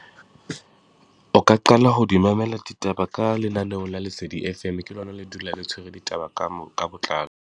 O ka qala ho di mamela ditaba ka lenaneo la lesedi F_M, ke lona le dulang le tshwere ditaba ka ka botlalo.